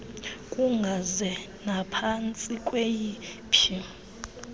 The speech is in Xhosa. kungaze naphantsi kweyiphi